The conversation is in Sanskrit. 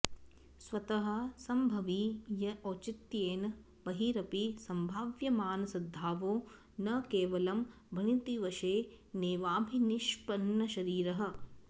स्वतः सम्भवी य औचित्येन बहिरपि सम्भाव्यमानसद्भावो न केवलं भणितिवशेनैवाभिनिष्पन्नशरीरः